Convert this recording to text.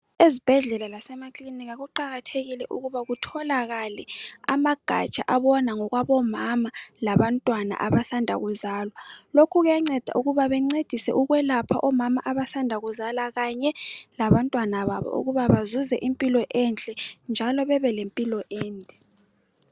Ezibhedlela lasemakiliniki, kuqakathekile ukuthi kutholakale amagaja abona ngokwabomama, labantwana abasanda kuzala. Lokhu kuyanceda, ukubai bancedise ukwelapha omama abasanda kuzala ukuthi bazuze impilo enhke, njalo babe lempilo ende.